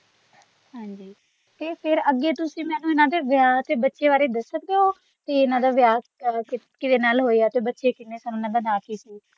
ਹਾਂਜੀ ਤੇ ਫੇਰ ਅੱਗੇ ਤੁਸੀ ਮੈਨੂੰ ਇੰਨਾ ਦੇ ਵਿਆਹ ਤੇ ਬਚੇ ਬਾਰੇ ਦਸ ਸਕਦੇ ਹੋ ਤੇ ਇੰਨਾ ਦਾ ਵਿਆਹ ਕਿਦੇ ਨਾਲ ਹੋਇਆ ਬਚੇ ਕਿੰਨੇ ਸਨ ਤੇ ਓਹਨਾ ਦਾ ਨਾਂ ਕੀ ਸੀ।